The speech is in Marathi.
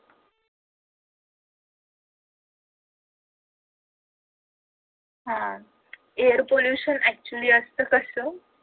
हा air pollution actually असत कस